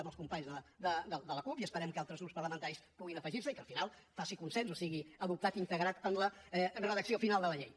amb els companys de la cup i esperem que altres grups parlamentaris puguin afegir s’hi i que al final faci consens o sigui adoptat i integrat en la redacció final de la llei